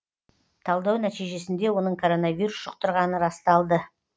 талдау нәтижесінде оның коронавирус жұқтырғаны расталды